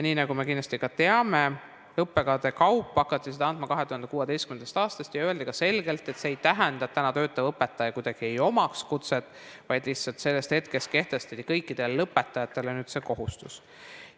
Nii nagu me kindlasti ka teame, õppekavade kaupa hakati seda andma 2016. aastast ja öeldi ka selgelt, et see ei tähenda, et täna töötaval õpetajal kuidagi ei oleks kutset, vaid lihtsalt sellest hetkest kehtestati kõikidele lõpetajatele see kohustus.